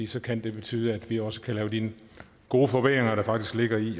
så kan det betyde at vi også kan lave de gode forbedringer der faktisk ligger i